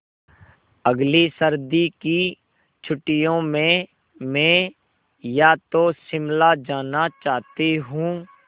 अगली सर्दी की छुट्टियों में मैं या तो शिमला जाना चाहती हूँ